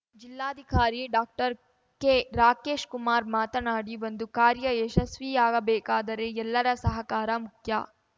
ಜಿಲ್ಲಾಧಿಕಾರಿ ಡಾಕ್ಟರ್ಕೆ ರಾಕೇಶ್‌ಕುಮಾರ್ ಮಾತನಾಡಿ ಒಂದು ಕಾರ್ಯ ಯಶಸ್ವಿಯಾಗಬೇಕಾದರೆ ಎಲ್ಲರ ಸಹಕಾರ ಮುಖ್ಯ